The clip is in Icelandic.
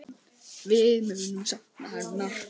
Við munum sakna hennar.